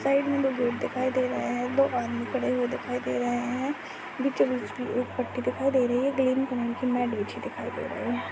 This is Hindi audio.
सामने गेट दिखाई दे रहा हैं दो आदमी खड़े हुए दिखाई दे रहे हैं बीचों बीच मे एक पट्टी दिखाई दे रही हैं ग्रीन कलर की मैट बिछी दिखाई दे रही हैं।